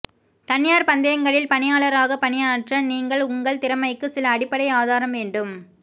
தனியார் பந்தயங்களில் பணியாளராக பணியாற்ற நீங்கள் உங்கள் திறமைக்கு சில அடிப்படை ஆதாரம் வேண்டும்